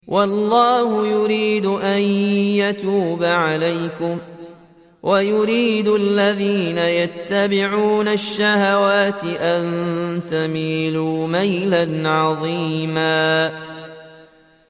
وَاللَّهُ يُرِيدُ أَن يَتُوبَ عَلَيْكُمْ وَيُرِيدُ الَّذِينَ يَتَّبِعُونَ الشَّهَوَاتِ أَن تَمِيلُوا مَيْلًا عَظِيمًا